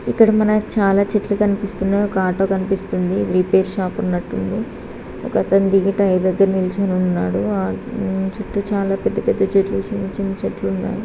ఇక్కడ మనకి చాలా చెట్లు కనిపిస్తున్నాయి. ఒక ఆటో కనిపిస్తుంది. రిపేర్ షాప్ ఉన్నట్టుంది. ఒకతను దిగి టైర్ దగ్గర నిల్చుని ఉన్నాడు. ఆ చుట్టూ చాలా పెద్ద పెద్ద చెట్లు చిన్న చిన్న చెట్లు ఉన్నాయి.